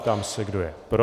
Ptám se, kdo je pro.